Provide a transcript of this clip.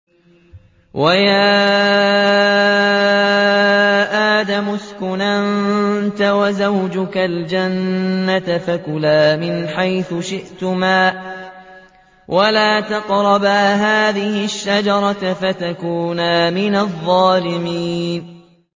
وَيَا آدَمُ اسْكُنْ أَنتَ وَزَوْجُكَ الْجَنَّةَ فَكُلَا مِنْ حَيْثُ شِئْتُمَا وَلَا تَقْرَبَا هَٰذِهِ الشَّجَرَةَ فَتَكُونَا مِنَ الظَّالِمِينَ